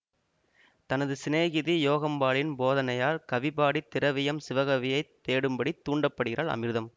தனது சினேகிதி யோகாம்பாளின் போதனையால் கவிபாடி திரவியம் சிவகவியைத் தேடும்படி தூண்டப்படுகிறாள் அமிர்தம்